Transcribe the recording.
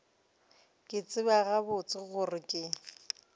ke tseba gabotse gore ke